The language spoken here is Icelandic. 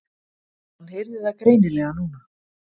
Hann heyrði það greinilega núna.